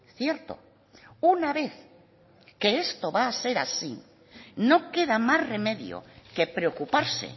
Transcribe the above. cierto una vez que esto va a ser así no queda más remedio que preocuparse